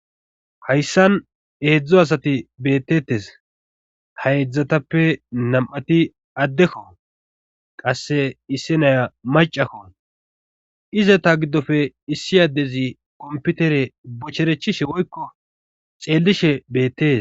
hayssan eedzdzo asati beettetes ha eedzdzatappe nam7ati addekko qasse issi naya macakkon izeta giddofe issi addezi kompitere bocherechishe woykko xeellishe beettees